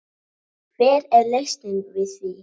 Hver er lausnin við því?